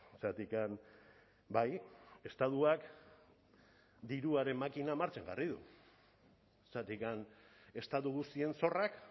zergatik bai estatuak diruaren makina martxan jarri du zergatik estatu guztien zorrak